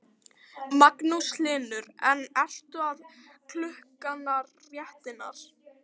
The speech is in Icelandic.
Magnús Hlynur: En eru allar klukkurnar réttar?